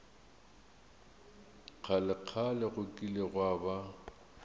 kgalekgale go kile gwa ba